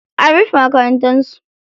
An rufe makarantar su.